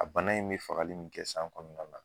A bana in be fagali min kɛ san kɔnɔna la